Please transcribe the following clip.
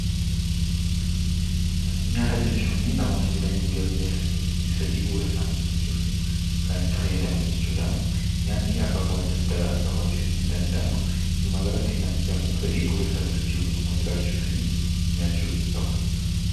Nyaata jechuunii namoonni jireenya isaanii guyyaa guyyaa keessatti fedhii bu'uura isaanii guuttachuuf kan itti fayyadaman jechuu dha. Nyaanni akaakuu adda addaa qabaachuu ni danda'a. Walumaagalatti, namni kamuu fedhii bu'uura isaa guuttachuu yookaan immoo jiraachuufii nyaachuu qaba.